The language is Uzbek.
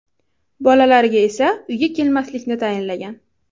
Bolalariga esa uyga kelmaslikni tayinlagan.